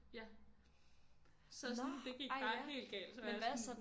Ja så sådan det gik bare helt galt så var jeg sådan